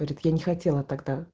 говорит я не хотела тогда